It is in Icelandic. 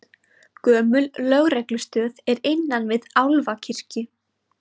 Gömul lögreglustöð er innan við Álfakirkju